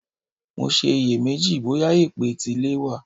Mo ṣe iyè méjì bóyà èpè tilẹ̀ wà.